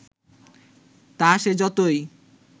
তা সে যতই